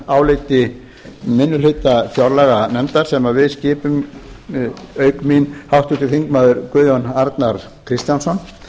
nefndaráliti minni hluta fjárlaganefndar sem við skipum auk mín háttvirtir þingmenn guðjón arnar kristjánsson